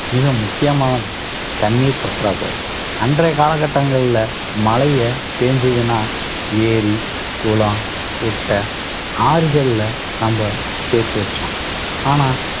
மிக முக்கியமானது தண்ணீர் பற்றாக்குறை. அன்றைய காலகட்டங்கள்ல மழையை பெய்ஞ்சதுன்னா ஏரி, குளம், குட்டை, ஆறுகள்ல நம்ப சேர்த்து வச்சோம். ஆனா